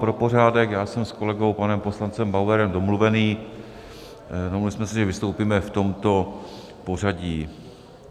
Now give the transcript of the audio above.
Pro pořádek, já jsem s kolegou panem poslancem Bauerem domluvený, domluvili jsme se, že vystoupíme v tomto pořadí.